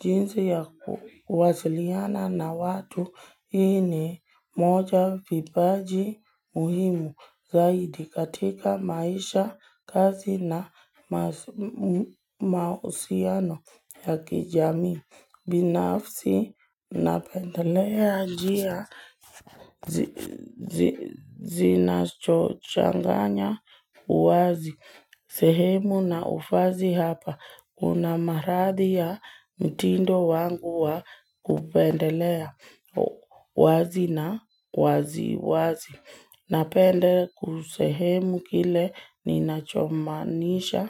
Jinsi ya kuwasiliana na watu hii ni moja vipaji muhimu zaidi katika maisha, kazi na mahusiano ya kijami. Binafsi napendelea njia zinazochanganya uwazi. Sehemu na ufazi hapa. Kuna marathi ya mtindo wangu wa kupendelea wazi na wazi wazi. Napende kisehemu kile ninachomanisha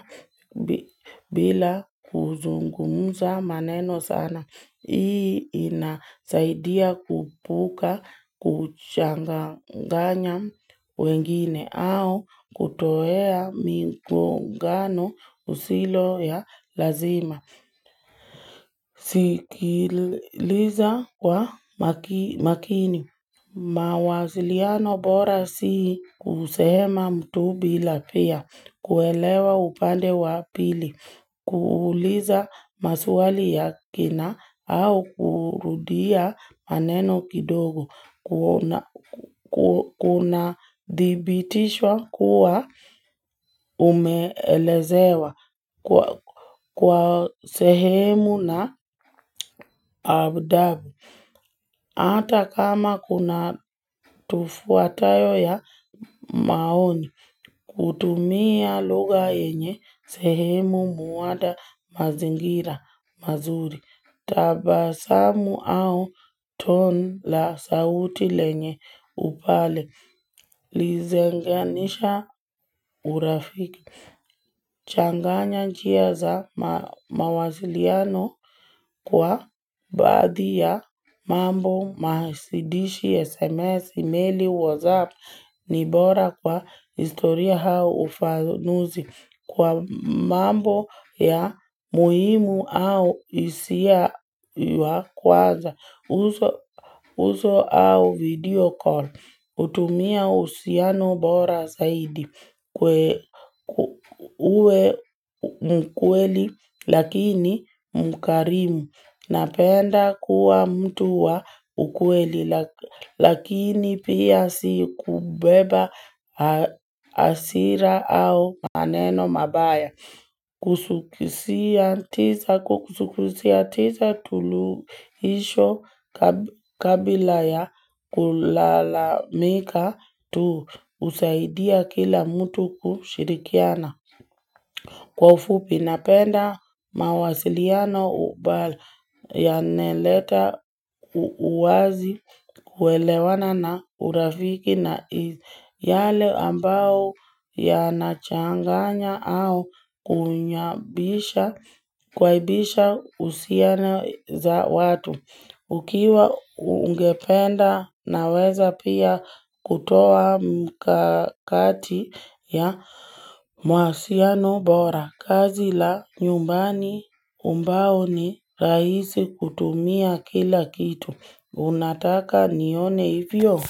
bila kuzungumuza maneno sana. Hii inasaidia kuepuka kuchanganya wengine au kutoa migongano isiyo ya lazima. Sikiliza kwa makini. Mawasiliano bora si kusema mtu bila pia. Kuelewa upande wapili. Kuuliza maswali ya kina au kurudia maneno kidogo Kunadibitisha kuwa umeelezewa kwa sehemu na adabu hata kama kuna tafauti ya maoni kutumia lugha yenye sehemu huunda mazingira mazuri tabasamu au tone la sauti lenye upole huunganisha urafiki. Changanya njia za mawasiliano kwa baadhi ya mambo maanzishi SMS email WhatsApp nibora kwa historia au ufanuzi. Kwa mambo ya muhimu au hisia wa kwanza uso au video call hutumia uhusiano bora zaidi uwe mkweli lakini mkarimu Napenda kuwa mtu wa ukweli Lakini pia si kubeba hasira au maneno mabaya. Suluhisho kabla ya kulalamika tu husaidia kila mtu kushirikiana. Kwa ufupi napenda mawasiliano yanaleta uwazi kuelewana na urafiki na yale ambayo yanachanganya au kuaibisha husiano za watu. Ukiwa ungependa naweza pia kutoa mkakati ya mawasiliano bora kazi la nyumbani ambayo ni rahisi kutumia kila kitu unataka nione hivyo.